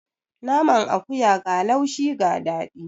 Naman akuya ga laushi ga daɗi.